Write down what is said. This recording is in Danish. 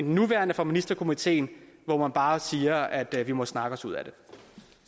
nuværende for ministerkomiteen hvor man bare siger at vi må snakke os ud af det